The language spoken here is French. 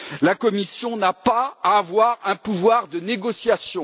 La Commission ne doit pas avoir de pouvoir de négociation.